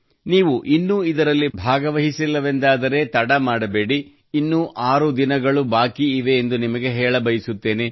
ನೀವು ಇನ್ನೂ ಇದರಲ್ಲಿ ಭಾಗವಹಿಸಿಲ್ಲವೆಂದಾದರೆ ತಡ ಮಾಡಬೇಡಿ ಇನ್ನೂ ಆರು ದಿನಗಳು ಬಾಕಿ ಇವೆ ಎಂದು ನಿಮಗೆ ಹೇಳಬಯಸುತ್ತೇನೆ